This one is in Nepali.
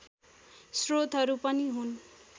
स्रोतहरू पनि हुन्